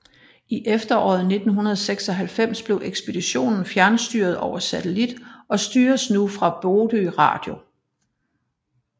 I efteråret 1996 blev ekspeditionen fjernstyret over satellit og styres nu fra Bodø Radio